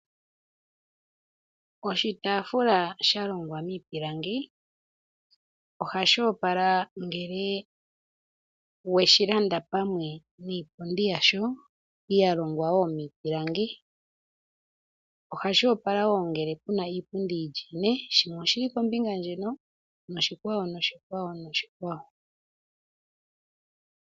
Oshitafula shalongwa miipilangi oha shi opala ngele weshi landa pamwe niipundi yasho yalongwa wo miipilangi. Ohashi opala wo ngele puna iipundi yi li ine shimwe oshili kombinga ndjino, noshikwawo, noshikwawo, noshikwawo.